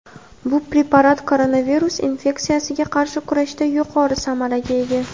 Bu preparat koronavirus infeksiyasiga qarshi kurashda yuqori samaraga ega.